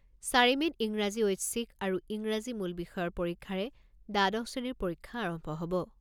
চাৰি মে'ত ইংৰাজী ঐচ্ছিক আৰু ইংৰাজী মূল বিষয়ৰ পৰীক্ষাৰে দ্বাদশ শ্ৰেণীৰ পৰীক্ষা আৰম্ভ হ'ব।